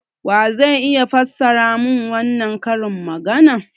Wa zai iya fassara mun wannan karin magana?